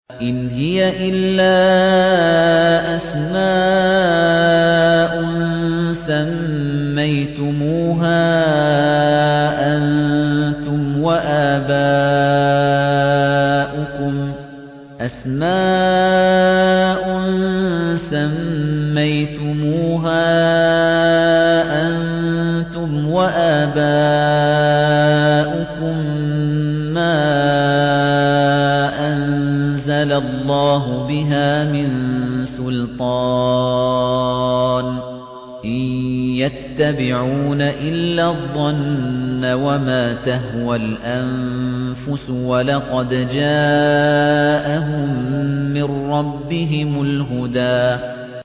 إِنْ هِيَ إِلَّا أَسْمَاءٌ سَمَّيْتُمُوهَا أَنتُمْ وَآبَاؤُكُم مَّا أَنزَلَ اللَّهُ بِهَا مِن سُلْطَانٍ ۚ إِن يَتَّبِعُونَ إِلَّا الظَّنَّ وَمَا تَهْوَى الْأَنفُسُ ۖ وَلَقَدْ جَاءَهُم مِّن رَّبِّهِمُ الْهُدَىٰ